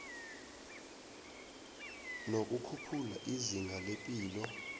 nokukhuphula izinga lepilo